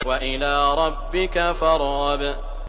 وَإِلَىٰ رَبِّكَ فَارْغَب